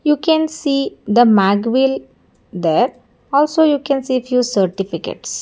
you can see the mag wheel there also you can see if you certificates.